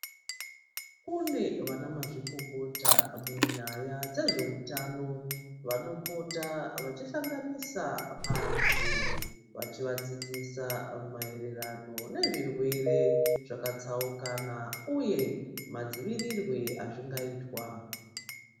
Kune vanamazvikokota munyaya dzezveutano, vanopota vachihlanganisa antu, vachizvidzidzisa maererano nezvirwere zvakatsaukana, uye madzivirirwe azvingaitwa.